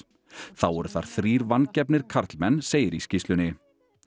þá voru þar þrír vangefnir karlmenn segir í skýrslunni